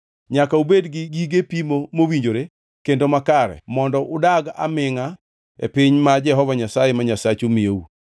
Nyaka ubed gi gige pimo mowinjore kendo makare mondo udagi amingʼa e piny ma Jehova Nyasaye ma Nyasachu miyou.